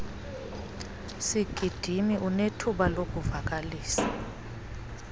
sigidimi unethuba lokuvakalisa